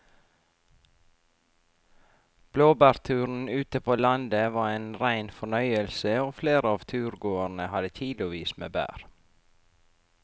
Blåbærturen ute på landet var en rein fornøyelse og flere av turgåerene hadde kilosvis med bær.